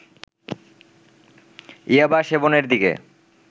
ইয়াবা সেবনের দিকে